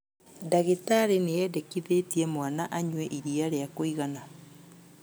Ndagĩtarĩ nĩendekithĩtie mwana anyue iria rĩa kũigana